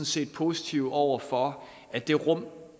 set positive over for at det rum